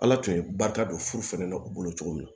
Ala tun ye barika don furu fana na u bolo cogo min na